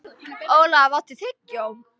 Olaf, áttu tyggjó?